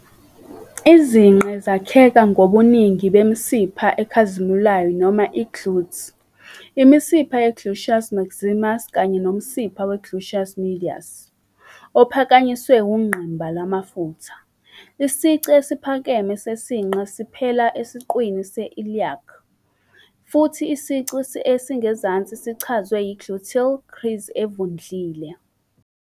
Izinqe zakheka ngobuningi bemisipha ekhazimulayo noma i- "glutes", imisipha ye-gluteus maximus kanye nomsipha we-gluteus medius, ophakanyiswe ungqimba lwamafutha. Isici esiphakeme sesinqe siphela esiqwini se-iliac, futhi isici esingezansi sichazwe yi-gluteal crease evundlile.